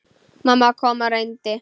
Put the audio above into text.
Mamma kom og reyndi.